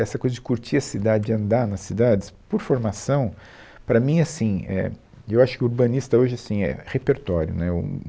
Essa coisa de curtir a cidade, andar nas cidades, por formação, para mim é assim, é, eu acho que o urbanista hoje, assim, é repertório, né, o